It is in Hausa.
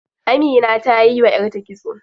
Amina tayi wa yarta kitso.